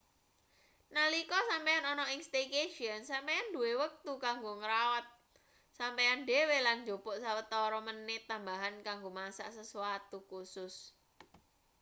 nalika sampeyan ana ing staycation sampeyan duwe wektu kanggo ngrawat sampeyan dhewe lan njupuk sawetara menit tambahan kanggo masak sesuatu khusus